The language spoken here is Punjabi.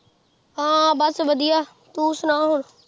ਹਾਂ ਬਸ ਵਧੀਆ, ਤੂੰ ਸੁਣਾ ਹੁਣ